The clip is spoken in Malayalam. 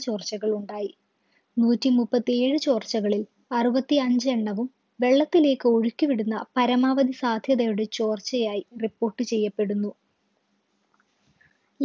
ചോർച്ചകൾ ഉണ്ടായി നൂറ്റി മുപ്പത്തിഏഴ് ചോർച്ചകളിൽ അറുപത്തി അഞ്ചെണ്ണവും വെള്ളത്തിലേക്ക് ഒഴുക്കി വിടുന്ന പരമാവധി സാധ്യതയുടെ ചോർച്ചയായി report ചെയ്യപ്പെടുന്നു